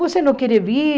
Você não quer vir?